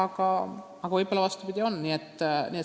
Võib-olla läheb vastupidi.